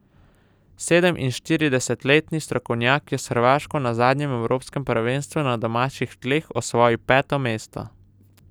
Sedeminšestdesetletni strokovnjak je s Hrvaško na zadnjem evropskem prvenstvu na domačih tleh osvojil peto mesto.